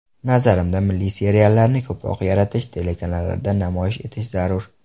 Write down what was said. Nazarimda milliy seriallarni ko‘proq yaratish, telekanallarda namoyish etish zarur.